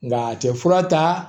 Nka a tɛ fura ta